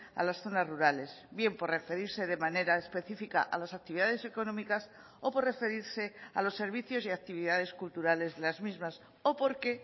a las zonas rurales bien por referirse de manera específica a las actividades económicas o por referirse a los servicios y actividades culturales de las mismas o porque